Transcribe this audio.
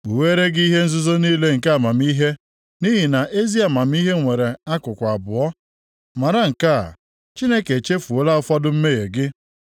Kpugheere gị ihe nzuzo niile nke amamihe, nʼihi na ezi amamihe nwere akụkụ abụọ. Mara nke a: Chineke echefuola ụfọdụ mmehie gị.